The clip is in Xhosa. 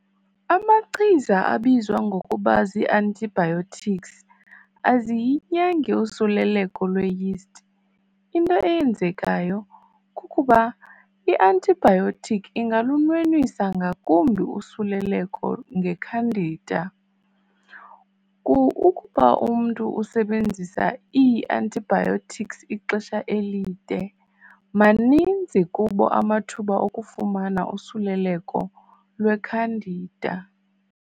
Amachiza abizwa ngokuba zii-antibiotics aziyinyangi usuleleko lwe-yeast. into eyenzekayo kukuba i-antibiotic ingalunwenwisa ngakumbi usuleleko ngeCandida. Ukuba umntu usebenzisa ii-antibiotics ixesha elide, Maninzi kubo amathuba okufumana usuleleko lwe-Candida.